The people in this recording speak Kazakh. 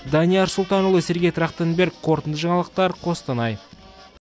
данияр сұлтанұлы сергей трахтенберг қорытынды жаңалықтар қостанай